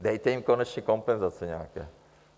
Dejte jim konečně kompenzace nějaké.